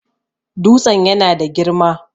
Dutsen yana da girma